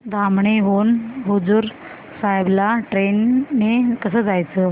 धामणी हून हुजूर साहेब ला ट्रेन ने कसं जायचं